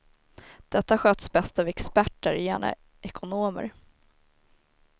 Detta sköts bäst av experter, gärna ekonomer.